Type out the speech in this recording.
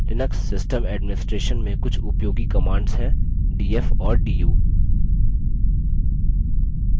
Linux system administration में कुछ उपयोगी commands हैं df और du